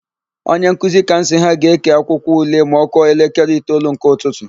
Onyenkuzi Kamsi ha ga-ékè akwụkwọule ma ọ kụọ elekere itoolu nke ụtụtụ.